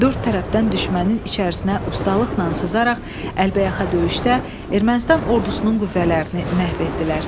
Dörd tərəfdən düşmənin içərisinə ustalıqla sızaraq əlbəyaxa döyüşdə Ermənistan ordusunun qüvvələrini məhv etdilər.